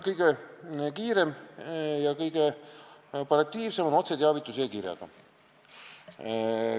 Kõige kiirem ja kõige operatiivsem on otseteavitus e-kirjaga.